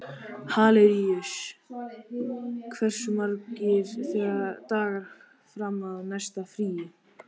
Hilaríus, hversu margir dagar fram að næsta fríi?